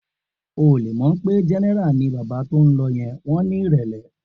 O ò le mọ̀ pé Jẹ́nẹ́rà ni bàbá tó ń lọ yẹn, wọn ní ìrẹ̀lẹ̀.